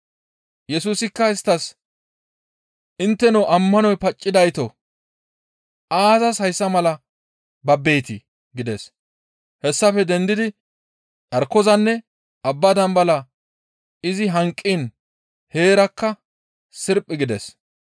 Yesusikka isttas, «Intteno ammanoy paccidaytoo! Aazas hayssa mala babbetii?» gides. Hessafe dendidi carkozanne abba dambalaa izi hanqiin heerakka sirphi gides.